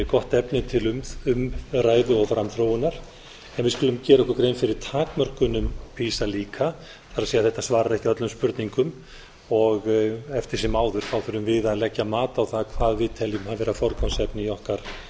gott efni til umræðu og framþróunar en við skulum gera okkur grein fyrir takmörkunum pisa líka það er þetta svarar ekki öllum spurningum og eftir sem áður þurfum við að leggja mat á það hvað við teljum vera forgangsefni í